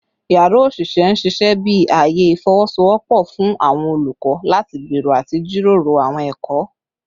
Yara osise n ṣiṣẹ bi aaye ifowosowopo fun awọn olukọ lati gbero ati jiroro awọn ẹkọ